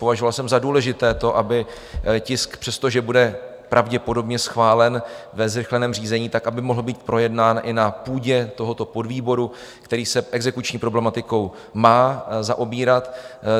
Považoval jsem za důležité to, aby tisk, přestože bude pravděpodobně schválen ve zrychleném řízení tak, aby mohl být projednán i na půdě tohoto podvýboru, který se exekuční problematikou má zaobírat.